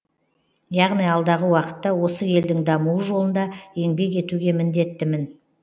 яғни алдағы уақытта осы елдің дамуы жолында еңбек етуге міндеттімін